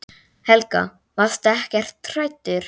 Helga: Varstu ekkert hræddur?